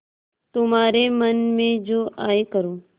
तुम्हारे मन में जो आये करो